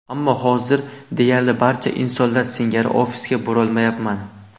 Ammo hozir deyarli barcha insonlar singari ofisga borolmayapman.